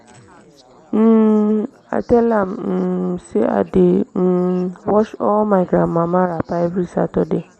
um i tell am um sey i dey um wash all my grandmama wrapper every saturday.